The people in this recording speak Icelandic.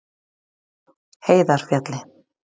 Heiðarfjalli